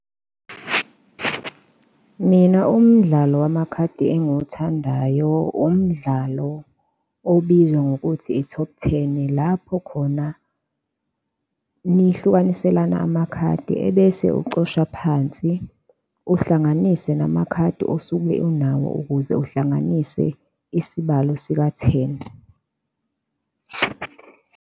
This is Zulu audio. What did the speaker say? Mina umdlalo wamakhadi engiwuthandayo umdlalo obizwa ngokuthi i-top ten, lapho khona nihlukaniselana amakhadi ebese ucosha phansi, uhlanganise namakhadi osuke unawo ukuze uhlanganise isibalo sika-ten.